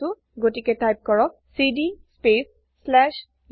গতিকে টাইপ কৰক CD space slash usr